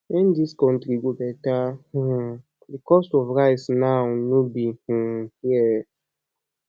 when this country go better um the cost of rice now no be um here